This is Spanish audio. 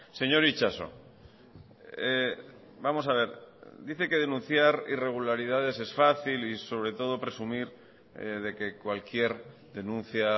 señor itxaso vamos a ver dice que denunciar irregularidades es fácil y sobre todo presumir de que cualquier denuncia